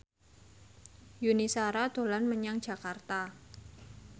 Yuni Shara dolan menyang Jakarta